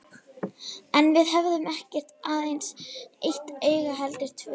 En við höfum ekki aðeins eitt auga heldur tvö.